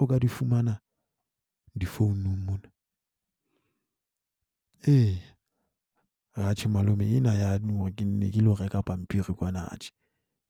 o ka di fumana di-phone-ng mona. Ee, atjhe malome ena ya ke nne ke lo reka pampiri kwana atjhe